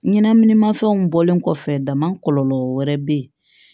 Ɲɛnɛminimafɛnw bɔlen kɔfɛ damakɔ kɔlɔlɔ wɛrɛ bɛ ye